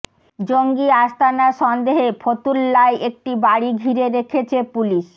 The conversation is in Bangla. জঙ্গি আস্তানা সন্দেহে ফতুল্লায় একটি বাড়ি ঘিরে রেখেছে পুলিশ